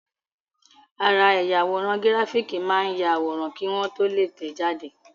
Ara ẹ̀yà àwòrán gíráfìkì máa ń yàwòrán kí wọ́n tó lè tẹ̀ẹ́ jáde